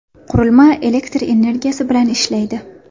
Qurilma elektr energiyasi bilan ishlaydi.